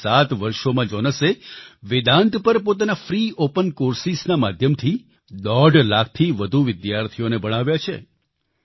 પાછલા 7 વર્ષોમાં જોનસે વેદાન્ત પર પોતાના ફ્રી ઓપન Coursesના માધ્યમથી દોઢ લાખથી વધુ વિદ્યાર્થીઓને ભણાવ્યા છે